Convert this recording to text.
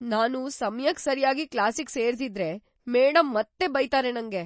ನಾನು ಸಮಯಕ್ ಸರ್ಯಾಗಿ ಕ್ಲಾಸಿಗ್ ಸೇರ್ದಿದ್ರೆ, ಮೇಡಂ ಮತ್ತೆ ಬೈತಾರೆ ನಂಗೆ.